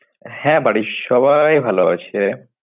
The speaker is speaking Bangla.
হ্যাঁ বাড়ির সবাই ভাল আছে।